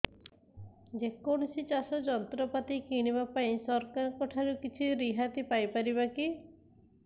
ଯେ କୌଣସି ଚାଷ ଯନ୍ତ୍ରପାତି କିଣିବା ପାଇଁ ସରକାରଙ୍କ ଠାରୁ କିଛି ରିହାତି ପାଇ ପାରିବା କି